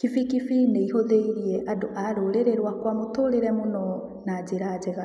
Kibikibi nĩihũthĩirie andũ a rũrĩrĩ rwakwa mũtũrĩre mũno na njĩra njega.